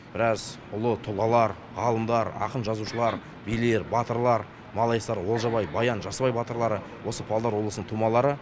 біраз ұлы тұлғалар ғалымдар ақын жазушылар билер батырлар малайсары олжабай баян жасыбай батырлары осы павлодар облысының тумалары